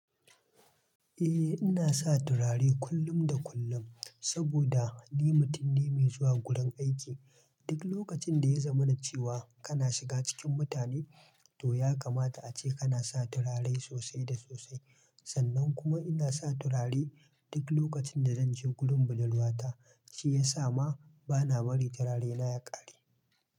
Eh, ina sa turare kullum da kullum, saboda ni mutum ne mai zuwa wurin aiki. Duk lokacin da ya zamana cewa kana shiga cikin mutane, to ya kamata ace kana sa turare sosai da sosai. Sannan kuma ina sa turare. Duk lokacin da zanje wurin budurwata, shi yasa ma bana bari turare na ya kare.